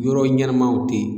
Yɔrɔ ɲɛnamaw tɛ yen